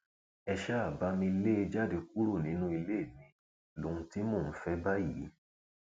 ẹ ṣáà bá mi lé e jáde kúrò nínú ilé mi lóhun tí mò ń fẹ báyìí